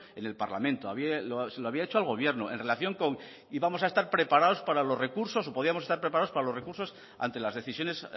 en el parlamento se lo había hecho al gobierno en relación con íbamos a estar preparados para los recursos o podíamos estar preparados para los recursos ante las decisiones